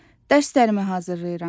Dərslərimi hazırlayıram.